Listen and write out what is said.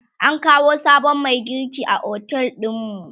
an kawo sabon Mai girki a otel ɗinmu